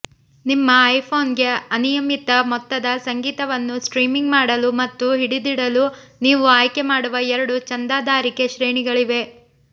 ನಿಮ್ಮ ಐಫೋನ್ಗೆ ಅನಿಯಮಿತ ಮೊತ್ತದ ಸಂಗೀತವನ್ನು ಸ್ಟ್ರೀಮಿಂಗ್ ಮಾಡಲು ಮತ್ತು ಹಿಡಿದಿಡಲು ನೀವು ಆಯ್ಕೆಮಾಡುವ ಎರಡು ಚಂದಾದಾರಿಕೆ ಶ್ರೇಣಿಗಳಿವೆ